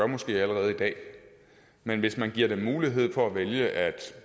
måske allerede i dag men hvis man giver dem mulighed for at vælge at